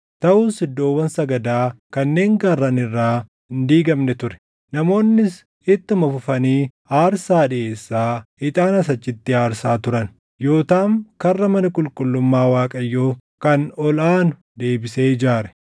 Taʼus iddoowwan sagadaa kanneen gaarran irraa hin diigamne ture. Namoonnis ittuma fufanii aarsaa dhiʼeessaa ixaanas achitti aarsaa turan. Yootaam Karra mana qulqullummaa Waaqayyoo kan Ol aanu deebisee ijaare.